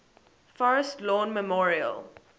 forest lawn memorial